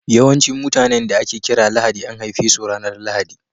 Yawancin mutanen da ake kira Lahadi an haife su ranar Lahadi.